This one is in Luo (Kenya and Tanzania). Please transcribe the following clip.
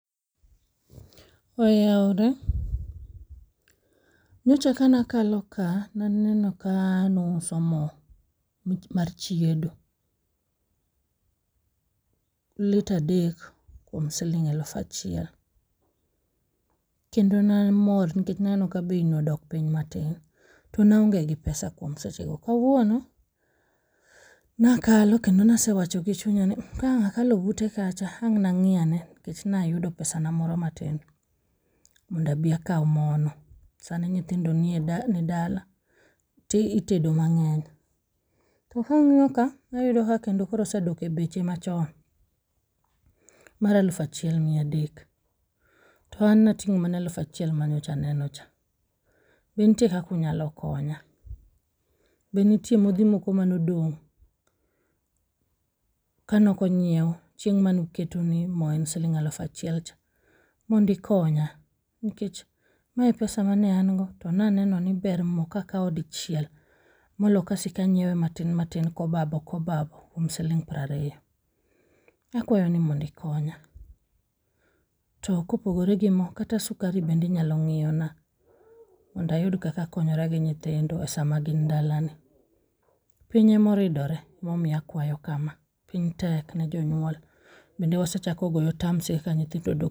Oyaore, nyocha ka nakalo ka naneno ka nuuso mo mar chiedo. Lita adek kuom siling elufachiel, kendo namor nikech naneno ka bei no odok piny matin. To naonge pesa kuom seche go. Kawuono nakalo kendo nasewacho gi chunya ni mh, ka ang' akalo bute kacha ang' nang'i ane nkech nayudo pesa na moro matin mondabi akaw mono. Sani nyithindo nie, ni dala to itedo mang'eny. To kang'iyo ka tayudo ka kendo koro osedok e beche machon mar alufachiel miyadek. To an nating'o mana alufachiel manyocha neno cha, be nitie kakunyalo konya? Be nitie modhi moko manodong' kanokonyiew chieng' manuketo ni mo en siling' alufachiel cha. Mondukonya nikech mae e pesa mane an go, to naneno ber mo kakawo dichiel molo kasikanyiewe matin matin kobabo kobabo kuom siling' prariyo. Akwayo ni mondikonya. To kopogore gi mo, kata sukari bendinyalo ng'iyona mondayud kakakonyora gi nyithindo sama gin dala ni. Piny emoridore emomiyo akwayo kama, piny tek ne jonyuol. Bende wasechako golo tams e kaka nyithindo dok.